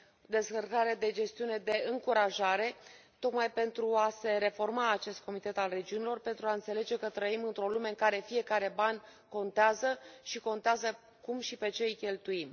descărcare de gestiune de încurajare tocmai pentru a se reforma acest Comitet al Regiunilor, pentru a înțelege că trăim într o lume în care fiecare ban contează și contează cum și pe ce îi cheltuim.